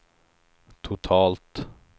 totalt